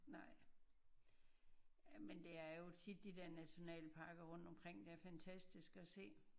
Nej jamen det er jo tit de der nationalparker rundt omkring der er fantastiske at se